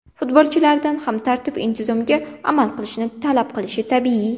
Futbolchilardan ham tartib intizomga amal qilishni talab qilishi tabiiy.